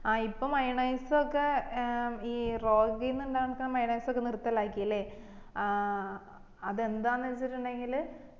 ആ ഇപ്പൊ മയോണൈസ് ഒക്കെ ഏർ ഈ ഇണ്ടാക്കിന്ന മയോനൈസ് ഒക്കെ നിർത്തലാക്കി അല്ലെ ഏർ അത് എന്താന്ന് വെച്ചിട്ടുണ്ടെകില്